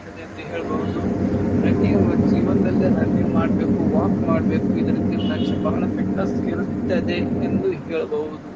ಇರುತ್ತದೆ ಅಂತ ಹೇಳ್ಬಹುದು. ರನ್ನಿಂಗ್ ನಮ್ ಜೀವನದಲ್ಲಿ ರನ್ನಿಂಗ್ ಮಾಡ್ಬೇಕು ವಾಕ್ ಮಾಡ್ಬೇಕು ಇದರಿಂದ ಮನಸಿಗೆ ಬಹಳ ಫಿಟ್ನೆಸ್ ಇರುತ್ತದೆ ಎಂದು ಹೇಳಬಹುದು.